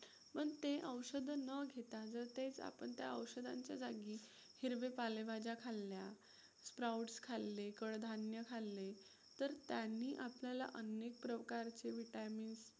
पण ते औषधं न घेता जर तेच आपण त्या औषधांच्या जागी हिरवे पालेभाज्या खाल्ल्या, sprouts खाल्ले, कडधान्य खाल्ले तर त्यांनी आपल्याला अनेक प्रकारचे vitamins